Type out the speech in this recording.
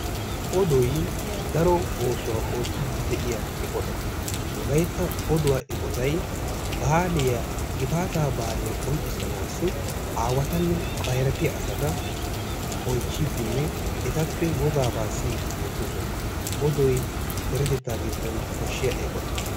Odoy daro oosuwaa ootiidi de'iya eqota. wolayttan, oduwa eqqotay baaliya gifaataa baaliya bonchanaasi aawatanne issi na"ay eqqiis. hegeekka bootta mayuwaa maayi uuttiis. ikka qassi ba huuphiyaan ukkaa wottibenna. appe qassi sintta baaggara geeshshaw yaagiyaa tsaafoy xaafetti uttiis. odoy deretetta iddon koshiya eqotta.